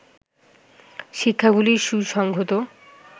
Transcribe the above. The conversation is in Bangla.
শিক্ষাগুলির সুসংহত